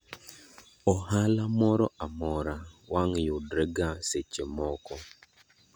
Ohala moro amora wang yudrega seche moko.